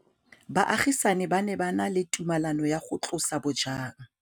Baagisani ba ne ba na le tumalanô ya go tlosa bojang.